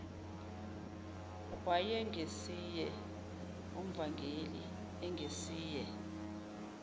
wayengesiye umvangeli engesiye